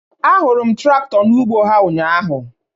A hụrụ m trakto n'ụgbọ ha ụnyaahụ